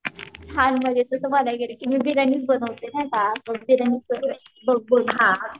छान म्हणजे तस बागाय गेलं की मी बिर्याणीच बनवते नाही का असं बिर्याणीच